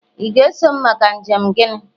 ị ga-eso m maka njem gini